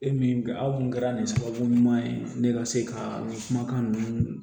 E min aw kun kɛra nin sababu ɲuman ye ne ka se ka kumakan ninnu